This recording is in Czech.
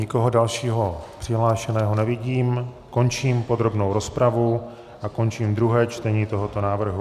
Nikoho dalšího přihlášeného nevidím, končím podrobnou rozpravu a končím druhé čtení tohoto návrhu.